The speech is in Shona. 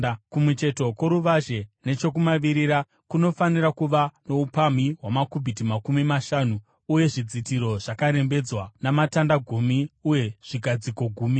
“Kumucheto kworuvazhe, nechokumavirira, kunofanira kuva noupamhi hwamakubhiti makumi mashanu uye zvidzitiro zvakarembedzwa, namatanda gumi uye zvigadziko gumi.